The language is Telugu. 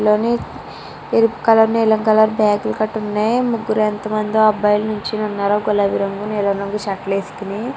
లోని ఎరుపు కలర్ నీలం కలర్ బ్యాగులు కట్టి ఉన్నాయి ముగ్గురు ఎంత మందో అబ్బాయిలు నించొనిఉన్నారు గులాబీ రంగు నీలం కలర్ షర్ట్స్ వేసుకొని --